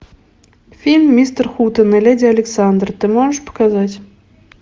фильм мистер хутен и леди александра ты можешь показать